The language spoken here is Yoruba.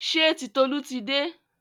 Ṣé Titolú ti dé?